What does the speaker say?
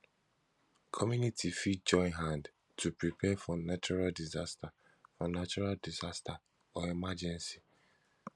community fit join hand to prepare for natural disaster for natural disaster or emergency